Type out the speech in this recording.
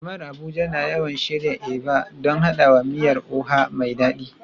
Jama'ar Abuja na yawan shirya Eba don haɗawa da miyar Oha mai dadi.